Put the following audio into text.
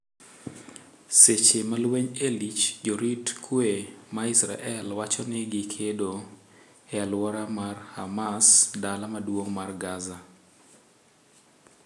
Seche malweny e lich, jorit kwe ma Israel wachoni gi kedo e aluora mar Hamas dala maduong' mar Gaza.